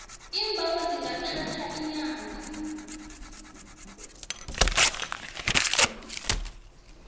iimbawo zingathatha iinyanga